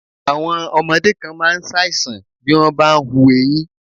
Àwọn ọmọdé kan máa ń ṣàìsàn bí wọ́n bá ń hù eyín.